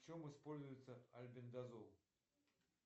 в чем используется альбендазол